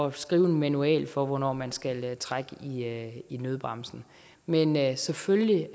at skrive en manual for hvornår man skal trække i nødbremsen men jeg er selvfølgelig